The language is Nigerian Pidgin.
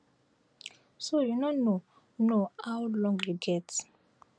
so you no know how long you get